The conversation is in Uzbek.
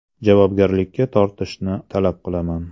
Javobgarlikka tortishni talab qilaman.